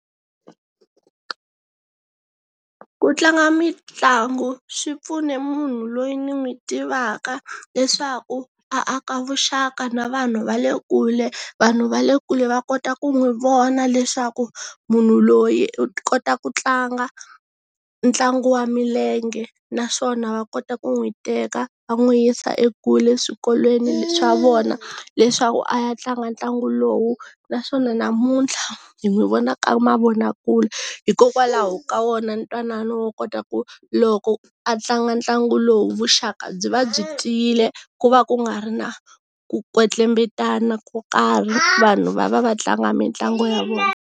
Ku tlanga mitlangu swi pfune munhu loyi ni n'wi tivaka, leswaku aka vuxaka na vanhu va le kule. Vanhu va le kule va kota ku n'wi vona leswaku, munhu loyi u kota ku tlanga, ntlangu wa milenge, naswona va kota ku n'wi teka va n'wi yisa ekule eswikolweni swa vona, leswaku a ya tlanga ntlangu lowu. Naswona namuntlha, hi n'wi vona ka mavonakule, hikokwalaho ka wona ntwanano kota ku, loko a tlanga ntlangu lowu, vuxaka byi va byi tiyile ku va ku nga ri na ku kwetlembetana ko karhi, vanhu va va va tlanga mitlangu ya vona.